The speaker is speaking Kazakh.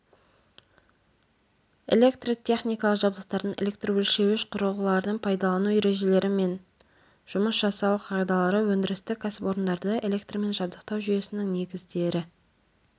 электротехникалық жабдықтардың электрөлшеуіш құрылғылардың пайдалану ережелері мен жұмыс жасау қағидалары өндірістік кәсіпорындарды электрмен жабдықтау жүйесінің негіздері